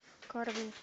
карвин